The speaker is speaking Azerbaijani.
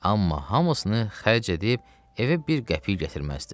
Amma hamısını xərc edib evə bir qəpik gətirməzdi.